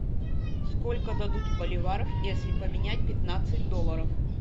сколько дадут боливаров если поменять пятнадцать долларов